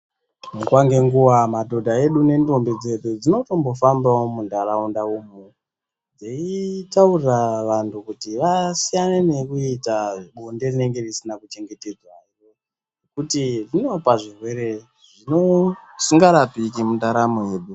Nguva ngenguva madhodha edu nendombi dzedu dzinotombofambawo muntaraunda umu dzeichitaurira vantu kuti vasiyane nekuita bonde rinenge risina kuchengetedzwa nekuti rinopa zvirwere zvisingarapiki mundaramo yedu.